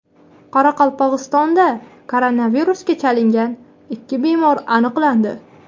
Qoraqalpog‘istonda koronavirusga chalingan ikki bemor aniqlandi.